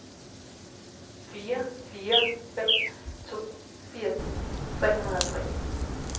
fire fire fem to firs tre hundrede og tre